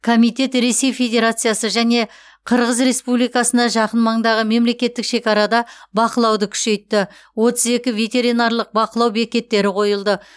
комитет ресей федерациясы және қырғыз республикасына жақын маңдағы мемлекеттік шекарада бақылауды күшейтті отыз екі ветеринарлық бақылау бекеттері қойылды